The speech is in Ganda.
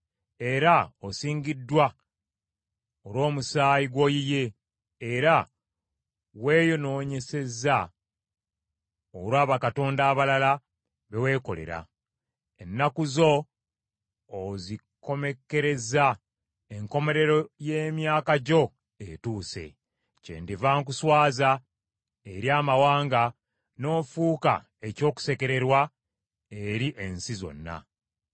era osingiddwa olw’omusaayi gw’oyiye era weeyonoonyesezza olwa bakatonda abalala be weekolera. Ennaku zo ozikomekkerezza, enkomerero ye myaka gyo etuuse. Kyendiva nkuswaza eri amawanga, n’ofuuka eky’okusekererwa eri ensi zonna.